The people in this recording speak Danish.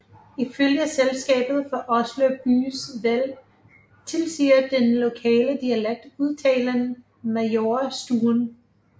Ifølge Selskabet for Oslo Byes Vel tilsiger den lokale dialekt udtalen Majorstuen